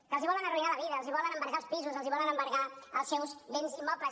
que els volen arruïnar la vida els volen embargar els pisos els volen embargar els seus béns immobles